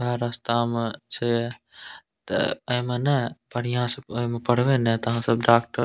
उहे रास्ता में छै तेए एमे ने बढ़ियां से ओय में पढ़वे ने आहां सब डाक --